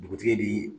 Dugutigi bi